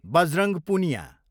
Bajrang Punia